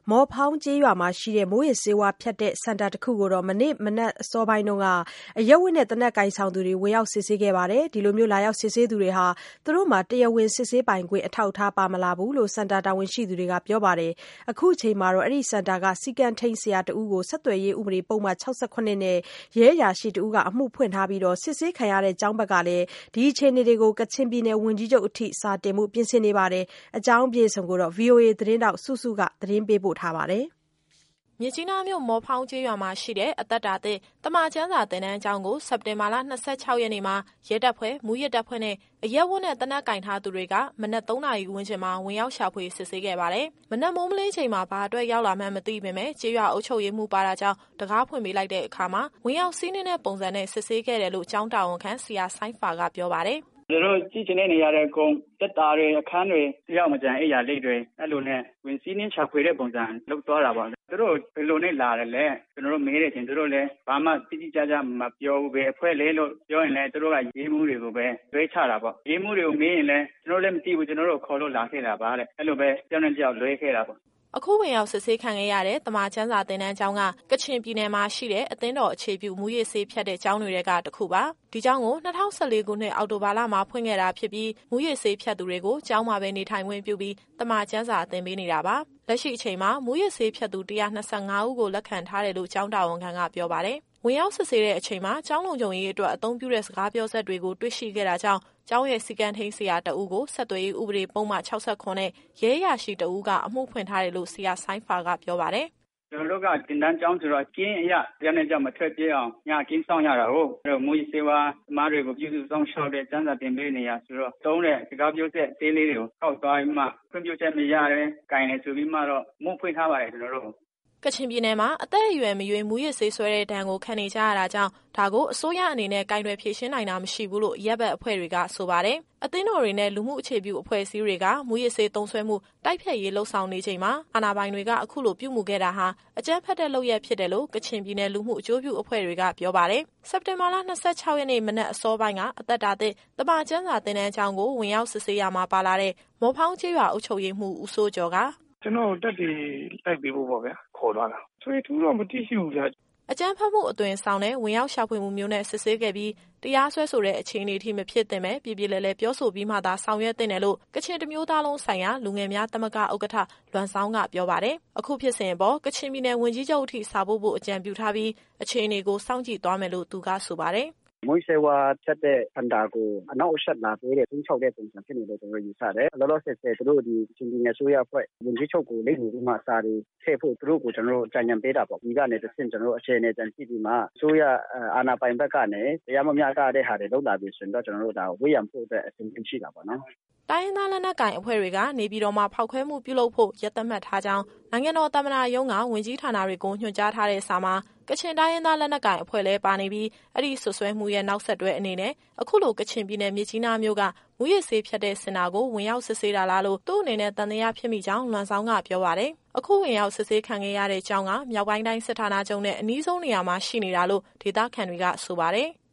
မော်ဖောင်းကျေးရွာမှာရှိတဲ့ မူးယစ်ဆေးဖြတ်တဲ့စင်တာတခုကို မနေ့ မနက်အစောပိုင်းက အရပ်ဝတ်နဲ့သေနတ်ကိုင်ဆောင်သူတွေက ဝင်ရောက် စစ်ဆေးခဲ့ပါတယ်။ လာရောက် စစ်ဆေးသူတွေဟာ သူတို့မှာ တရားဝင်စစ်ဆေးပိုင်ခွင့် အထောက်အထား ပါမလာဘူးလို့ စင်တာ တာဝန်ရှိသူတွေက ပြောပါတယ်။ အခုချိန်မှာတော့ အဲဒီစင်တာက စည်းကမ်းထိန်း ဆရာတဦးကို ဆက်သွယ်ရေးဥပဒေပုဒ်မ ၆၇နဲ့ ရဲအရာရှိတဦးက အမှုဖွင့်ခဲ့ပြီး၊ စစ်ဆေးခံရတဲ့ ကျောင်းဘက်က လည်း ဒီအခြေအနေတွေကို ကချင်ပြည်နယ်ဝန်ကြီးချုပ်အထိ စာတင်ဖို့ ပြင်ဆင်နေပါတယ်။ ဒီအကြောင်းအပြည့်အစုံကို ဗွီအိုအေသတင်းထောက် စုစုက မေးမြန်းပေးပို့ ထားပါတယ်။ မြစ်ကြီးနားမြို့၊ မော်ဖောင်းကျေးရွာမှာရှိတဲ့ အသက်တာသစ် သမ္မာကျမ်းစာ သင်တန်းကျောင်းကို စက်တင်ဘာလ ၂၆ရက်နေ့မှာ ရဲတပ်ဖွဲ့၊ မူးယစ်တပ်ဖွဲ့နဲ့၊ အရပ်ဝတ်နဲ့ သေနတ် ကိုင်ဆောင်ထားသူတွေ က မနက် ၃နာရီဝန်းကျင်မှာ ဝင်ရောက်ရှာဖွေ စစ်ဆေးခဲ့ပါတယ်။ မနက်မိုးမလင်းချိန်မှာ ဘာအတွက်ရောက်လာမှန်း မသိပေမယ့် ကျေးရွာအုပ်ချုပ်ရေးမှူးပါတာကြောင့် တံခါးဖွင့်ပေးလိုက်တဲ့အခါမှာ ဝင်ရောက်စီးနင်းတဲ့ပုံစံနဲ့ စစ်ဆေးခဲ့တယ်လို့ ကျောင်းတာဝန်ခံ ဆရာဆိုင်းဖာက ပြောပါတယ်။ “သူတို့ကြည့်ချင်တဲ့နေရာတွေအကုန် သေတ္တာတွေ၊ အခန်းတွေ၊ တယောက်မကျန်၊ အိမ်ယာလိတ်တွေ အဲလိုနဲ့ ဝင်စီးနင်းရှာဖွေတဲ့ပုံစံ လုပ်သွားတာပေါ့။ သူတို့ကို ဘယ်သူနဲ့လာတာလဲ၊ ကျတော်တို့မေးတဲ့အချိန် သူတို့လည်း ဘာမှတိတိကျကျမပြောဘူး။ ဘယ်အဖွဲ့လည်းလို့ ပြောရင်လည်း သူတို့ကရဲမှူးတွေကိုပဲ လွှဲချတာပေါ့။ ရဲမှူးတွေကိုမေးရင်လည်း ကျတော်တို့လည်းမသိဘူး။ ကျတော်တို့ကို ခေါ်လို့လာခဲ့တာပါတဲ့။ အဲလိုပဲ တယောက်နဲ့ တယောက်လွှဲခဲ့တာပေါ့။” အခုဝင်ရောက်စစ်ဆေးခံခဲ့ရတဲ့ သမ္မာကျမ်းစာသင်တန်းကျောင်းက ကချင်ပြည်နယ်မှာရှိတဲ့ အသင်းတော် အခြေပြု မူးယစ်ဆေးဖြတ်တဲ့ ကျောင်းတွေထဲက တစ်ခုပါ။ ဒီကျောင်းကို ၂၀၁၄ခုနှစ် အောက်တိုဘာလမှာ ဖွင့်ခဲ့တာဖြစ်ပြီး၊ မူးယစ်ဆေး ဖြတ်သူတွေကို ကျောင်းမှာပဲနေထိုင်ခွင့်ပြုပြီး သမ္မာကျမ်းစာသင်ပေးနေတာပါ။ လက်ရှိအချိန်မှာ မူးယစ်ဆေးဖြတ်သူ ၁၂၅ဦး ကို လက်ခံထားတယ်လို့ ကျောင်းတာဝန်ခံကပြောပါတယ်။ ဝင်ရောက်စစ်ဆေးတဲ့အချိန်မှာ ကျောင်းလုံခြုံရေးအတွက် အသုံးပြုတဲ့ စကားပြောစက်တွေကို တွေ့ရှိခဲ့တာကြောင့် ကျောင်းရဲ့စည်းကမ်းထိန်း ဆရာတဦးကို ဆက်သွယ်ရေးဥပဒေပုဒ်မ ၆၇နဲ့ ရဲအရာရှိတဦးက အမှုဖွင့်ထားတယ်လို့ ဆရာဆိုင်းဖာကပြောပါတယ်။ “ကျတော်တို့က သင်တန်းကျောင်းဆိုတာ့ ကင်းအရ တယောက်နဲ့တယောက် မထွက်ပြေးအောင် ညကင်းစောင့်ရတာကိုး။ အဲတော့ မူးယစ်ဆေးဝါးသမားတွေကို ပြုစုစောင့်ရှောက်တဲ့၊ ကျမ်းစာ သင်ပေးနေတာဆိုတော့ သုံးတဲ့စကားပြောစက် အသေးလေးတွေကို ကောက်သွားပြီးမှ ခွင့်ပြုချက်မရဘဲ ကိုင်တယ်ဆိုပြီးမှတော့ အမှုဖွင့်ထားပါတယ် ကျတော်တို့ကို။” ကချင်ပြည်နယ်မှာ အသက်အရွယ်မရွေး မူးယစ်ဆေးစွဲတဲ့ဒဏ်ကို ခံနေကြရတာကြောင့် ဒါကို အစိုးရအနေနဲ့ ကိုင်တွယ်ဖြေရှင်းနိုင်တာ မရှိဘူးလို့ အရပ်ဖက်အဖွဲ့တွေက ဆိုပါတယ်။ အသင်းတော်တွေနဲ့ လူမှုအခြေပြုအဖွဲ့အစည်းတွေက မူးယစ်ဆေး သုံးစွဲမှု တိုက်ဖျက်ရေး လုပ်ဆောင်နေချိန်မှာ အာဏာပိုင်တွေက အခုလိုပြုမူခဲ့တာဟာ အကြမ်းဖက်တဲ့လုပ်ရပ်ဖြစ်တယ်လို့ ကချင်ပြည်နယ်လူမှုအကျိုးပြု အဖွဲ့တွေက ပြောပါတယ်။ စက်တင်ဘာလ ၂၆ရက်နေ့ မနက်အစောပိုင်းက အသက်တာသစ် သမ္မာကျမ်းစာသင်တန်ကျောင်းကို ဝင်ရောက်စစ်ဆေးရာမှာ ပါလာတဲ့ မော်ဖောင်းကျေးရွာ အုပ်ချုပ်ရေးမှူး ဦးစိုးကျော်က “ကျတော့်ကိုသက်သေ လိုက်ပေးဖို့ပေါ့ဗျာ ခေါ်သွားတာ။ ထွေထွေထူးထူးတော့ မသိရှိဘူးဗျ။” အကြမ်းဖက်မှုအသွင်ဆောင်တဲ့ ဝင်ရောက်ရှာဖွေမှုမျိုးနဲ့ စစ်ဆေးခဲ့ပြီး၊ တရားစွဲဆိုတဲ့အခြေအနေထိ မဖြစ်သင့်ဘဲ၊ ပြေပြေလည်လည် ပြောဆိုပြီးမှသာ ဆောင်ရွက်သင့်တယ်လို့ ကချင်တမျိုးသားလုံးဆိုင်ရာ လူငယ်များသမဂ္ဂ ဥက္ကဋ္ဌ လွမ်ဇောင်းက ပြောပါတယ်။ အခုဖြစ်စဉ်အပေါ် ကချင်ပြည်နယ်ဝန်ကြီးချုပ်အထိ စာပို့ဖို့ အကြံပြုထားပြီး၊ အခြေအနေကို စောင့်ကြည့်သွားမယ်လို့ သူကဆိုပါတယ်။ “မူးယစ်ဆေးဝါးဖြတ်တဲ့ စင်တာကို အနှောင့်အယှက်လာပေးတဲ့ ခြိမ်းခြောက်တဲ့ပုံစံဖြစ်နေတယ်လို့ ကျတော်တို့ယူဆတယ်။ လောလောဆယ် သူတို့ ကချင်ပြည်နယ်အစိုးရအဖွဲ့ ဝန်ကြီးချုပ်ကိုလိပ်မူပြီးမှ စာတွေထည့်ဖို့ သူတို့ကို ကျတော်တို့အကြံဉာဏ်ပေးတာပေါ့။ ဒီကနေတဆင့် ကျတော်တို့ အခြေအနေပြန်ကြည့်ပြီးမှ အစိုးရအာဏာပိုင်ဘက်ကနေ တရားမမျှတတဲ့ဟာတွေ လုပ်လာပြီဆိုရင်တော့ ကျတော်တို့ ဒါကို ဝန်းရံဖို့အတွက် အဆင်သင့်ရှိတာပေါ့နော်။” တိုင်းရင်းသား လက်နက်ကိုင်အဖွဲ့တွေက နေပြည်တော်မှာ ဖောက်ခွဲမှုပြုလုပ်ဖို့ ရက်သတ်မှတ်ထားကြောင်း နိုင်ငံတော်သမ္မတရုံးက ဝန်ကြီးဌာနတွေကို ညွှန်ကြားထားတဲ့စာမှာ ကချင်တိုင်းရင်းသား လက်နက်ကိုင်အဖွဲ့လည်းပါနေပြီး အဲဒီစွတ်စွဲမှုရဲ့ နောက်ဆက်တွဲအနေနဲ့ အခုလို ကချင်ပြည်နယ် မြစ်ကြီးနားမြို့က မူးယစ်ဆေးဖြတ်တဲ့ စင်တာကို ဝင်ရောက်စစ်ဆေးတာလားလို့ သူ့အနေနဲ့ သံသယဖြစ်မိကြောင်း လွမ်ဇောင်းက ပြောပါတယ်။ အခုဝင်ရောက်စစ်ဆေးခံခဲ့ရတဲ့ကျောင်းက မြောက်ပိုင်းတိုင်းစစ်ဌာနချုပ်နဲ့ အနီးဆုံးနေရာမှာရှိနေတာလို့ ဒေသခံတွေကဆိုပါတယ်။